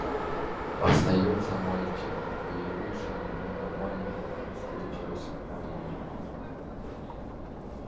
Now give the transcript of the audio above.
остаётся мальчик проявивший ненормальную устойчивость к магии